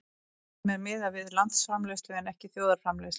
Stundum er miðað við landsframleiðslu en ekki þjóðarframleiðslu.